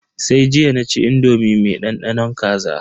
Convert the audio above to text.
Sai jiya naci indomi me dandanon kaza.